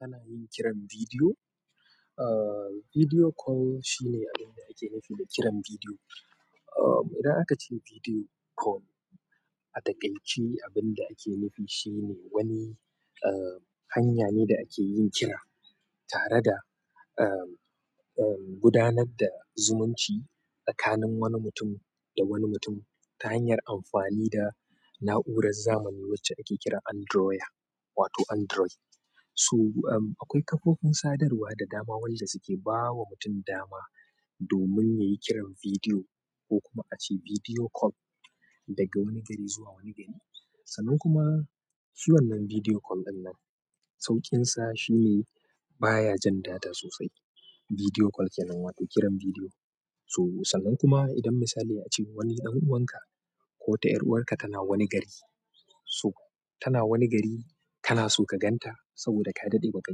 Ana yin kiran bidiyo, ah, video call shine abin da ake nufi da kiran bidiyo. Ah, idan aka ce video call a takaice, abin da ake nufi shi ne wani, ah, hanya ne da ake yin kira tare da, ah, ah, gudanar da zumunci tsakanin wani mutum da wani mutum ta hanyar amfani da na'urar zamani wacce ake kira Androya wato Android. So, ah, akwai kafofin sadarwa da dama wanda suke ba wa mutum dama domin nayi kiran video ko kuma ace video call daga wani gari zuwa wani gari. Sannan kuma su wannan bidiyo call ɗinnan sauƙinsa shine baya jan data sosai. Video call kenan wato kiran video. So sannan kuma idan misali a ce wani ɗan'uwanka ko wata ƴar'uwarka tana wani gari. So tana wani gari kana so ka gan ta saboda ka daɗe ba ka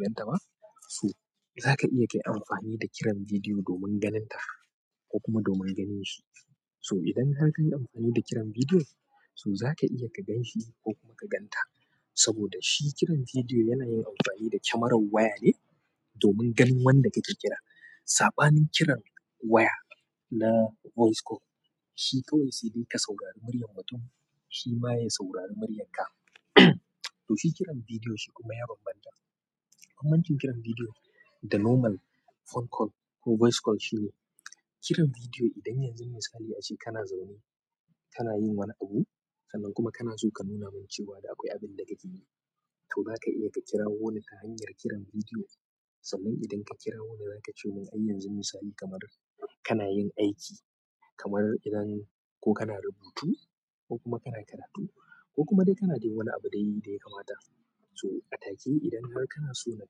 gan ta ba. So za ka iya ka yi amfani da kiran bidiyo domin ganin ta ko kuma domin ganin shi. So idan har ka yi amfani da kiran bidiyo, so za ka iya ka gan shi ko kuma ka gan ta. Saboda shi kiran video yana yin anfani da camerar waya ne domin ganin wanda kake kira. Saɓanin kiran waya na voice call, shi kawai sai de ka saurari muryar mutum shi ma ya saurari muryanka. To, shi kiran bidiyo shi kuma ya ban banta. Bambancin kiran bidiyo da normal phone call ko voice call shine, kiran bidiyo idan yanzu misali a ce kana zaune kana yin wani abu sannan kuma kana so ka nuna min cewa da akwai abin da kake yi. To za ka iya ka kirawo ni ta hanyar kiran bidiyo. Sannan idan ka kirawo ni, za ka ce mun ai yanzu misali kamar kana yin aiki, kamar idan ko kana rubutu ko kuma kana karatu ko kuma dai kana dai wani abu dai da ya kamata. So a take idan har kana so na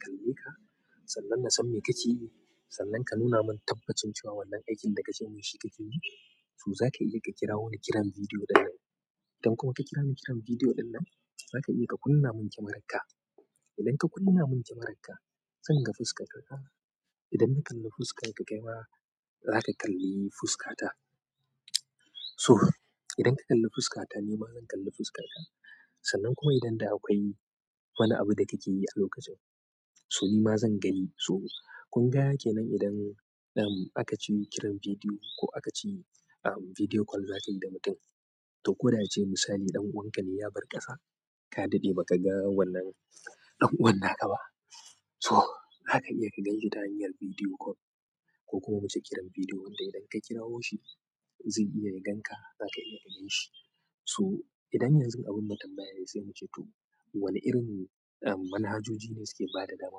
kalle ka sannan na san me kake yi sannan ka nuna mun tabbacin cewa wannan aikin da ka ce mun shi kake yi, so za ka iya ka kira wani kiran bidiyo ɗinnan. Idan kuma ka kira ni kiran bidiyo ɗinnan, za ka iya ka kunna mun kyamararka. Idan ka kunna min kyamararka zan ga fuskar ka. Idan na kalli fuskar ka, kai ma za ka kalli fuskata. So idan ka kalli fuskata, ni ma zan kalli fuskarka. Sannan kuma idan da akwai duk wani abu da kake yi a lokacin so nima zan gani. So kunga kenan idan, em, aka ce kiran bidiyo ko aka ce, em, video call za ka yi da mutum. To ko da ace misali ɗan'uwanka ne ya bar ƙasa ka daɗe ba ka ga wannan ɗan'uwan naka ba. To zaka iya ganinshi ta hanyar video call ko kuma muce kiran video wanda idan ka kirawo shi ze iya ya ganka zaka iya ganin shi. So idan yanzu abin na tambaya ne sai mu ce to wane irin, em, manhajoji ne suke ba da dama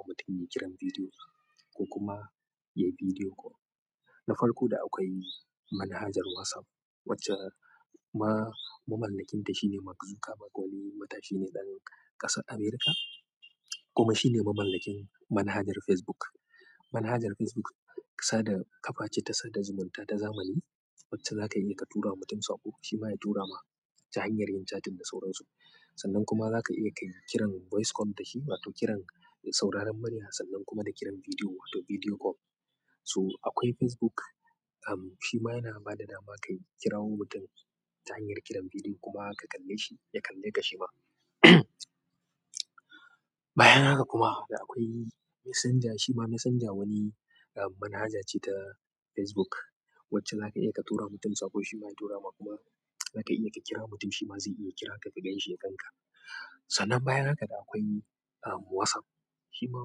mutum ya yi kiran bidiyo ko kuma ya yi video call. Na farko da akwai manhajar WhatsApp wacce ma-mamallakinta shine Mark Zuckerberg wani matashi ne ɗan ƙasar Amurka kuma shi ne mamallakin manhajar Facebook. Manhajar Facebook sada ƙafa ce ta sada zumunta ta zamani wacce za ka iya ka tura mutum saƙo shi ma ya tura ma ta hanyar yin chatting da sauransu. Sannan kuma za ka iya ka yi kiran voice call da shi wato kiran sauraron muriya sannan kuma da kiran bidiyo wato video call. To akwai Facebook, em, shi ma yana ba da dama ka kirawo mutum ta hanyar kiran bidiyo kuma ka kalle shi ya kalle ka shi ma. Bayan haka kuma da akwai Messenger. Shi ma Messenger wani, em, manhaja ce ta Facebook wacce za ka iya ka turawa mutum saƙo shi ma ya tura ma kuma za ka iya ka kira mutum shi ma zai iya kira ka ka gan shi, ya gan ka. Sannan bayan haka da akwai, em, WhatsApp. Shi ma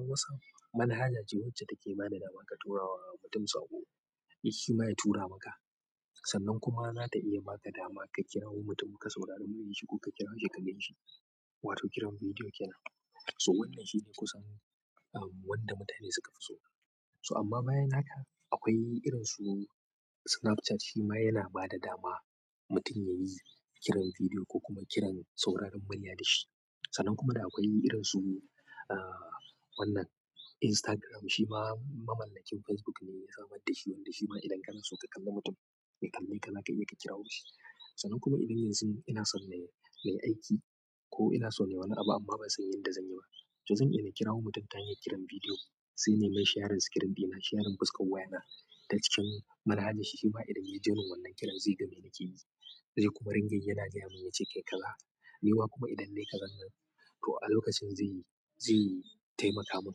WhatsApp manhaja ce wacce take ba da dama ka tura wa mutum saƙo shi ma ya tura maka. Sannan kuma za ta iya ba ka dama ka kirawo mutum ka saurari muryar shi ko ka kira shi ka gan shi wato kiran bidiyo kenan. So wannan shine kusan, em, wanda mutane suka fi so. So amma bayan haka akwai irin su Snapchat shi ma yana ba da dama mutum ya yi kiran bidiyo ko kuma kiran sauraron murya da shi. Sannan kuma da akwai irin su, ah, wannan Instagram shi ma mamallakin Facebook ne ya samar da shi wanda shi ma idan kana so ka kalli mutum ya kalle ka za ka iya ka kirawo shi. Sannan kuma idan yanzun ina son nai, na yi aiki ko ina so nayi wani abu amma ban sani yadda zan yi ba, to zan iya na kirawo mutum ta hanyar kiran bidiyo. Sai nai mai shayarin sikirim ɗina shayarin fuskar waya na ta cikin manhaja shi shi ma idan yayi joining wannan kiran zai ga me nake yi. Zai kuma ringa yana gaya mun ya ce kai kaza. Ni ma kuma idan na yi kazan nan to a lokacin zai yi, zai yi taimaka mun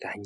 ta hanyar.